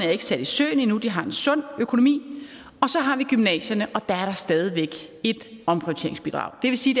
er ikke sat i søen endnu de har en sund økonomi og så har vi gymnasierne og der er der stadig væk et omprioriteringsbidrag det vil sige